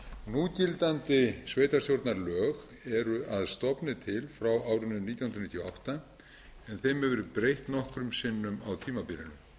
núgildandi sveitarstjórnarlög eru að stofni til frá árinu nítján hundruð níutíu og átta en þeim hefur verið breytt nokkrum sinnum á tímabilinu